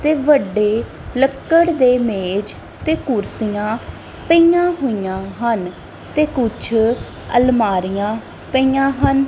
ਤੇ ਵੱਡੇ ਲੱਕੜ ਦੇ ਮੇਜ਼ ਤੇ ਕੁਰਸੀਆਂ ਪਈਆਂ ਹੋਈਆਂ ਹਨ ਤੇ ਕੁਝ ਅਲਮਾਰੀਆਂ ਪਈਆਂ ਹਨ।